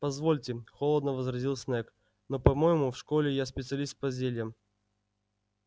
позвольте холодно возразил снегг но по-моему в школе я специалист по зельям